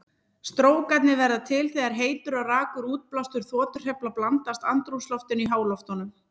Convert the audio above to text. Strókarnir verða til þegar heitur og rakur útblástur þotuhreyfla blandast andrúmsloftinu í háloftunum.